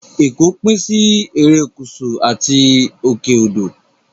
Ẹ̀kọ́ pín sí Erékùṣù àti òkè odò